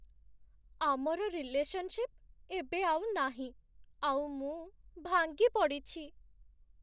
ଆମର ରିଲେସନଶିପ୍ ଏବେ ଆଉ ନାହିଁ, ଆଉ ମୁଁ ଭାଙ୍ଗି ପଡ଼ିଛି ।